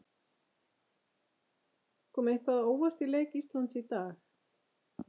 Kom eitthvað á óvart í leik Íslands í dag?